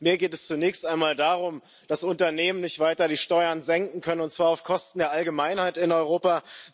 Aber mir geht es zunächst einmal darum, dass Unternehmen nicht weiter die Steuern senken können, und zwar auf Kosten der Allgemeinheit in Europa.